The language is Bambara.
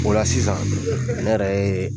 O la sisan ne yɛrɛ ye